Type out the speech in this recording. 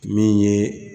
Min ye